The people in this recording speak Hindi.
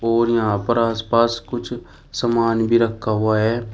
और यहां पर आसपास कुछ समान भी रखा हुआ है।